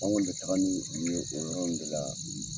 An kɔni bɛ taga ni u ye o yɔrɔ ninnu de la